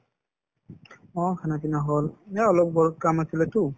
অ, khana pina হল অলপ ঘৰত কাম আছিলেতো